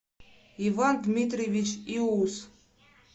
иван дмитриевич иус